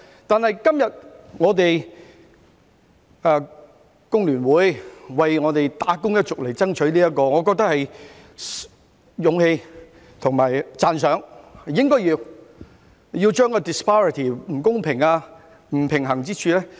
今天工聯會為"打工一族"爭取假期，我認為有勇氣和值得讚賞，應該要妥善處理不公平、不平衡之處。